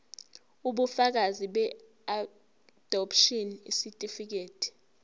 ubufakazi beadopshini isitifikedi